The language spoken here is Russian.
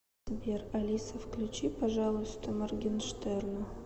сбер алиса включи пожалуйста моргенштерна